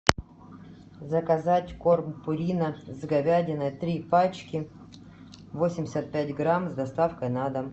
заказать корм пурина с говядиной три пачки восемьдесят пять грамм с доставкой на дом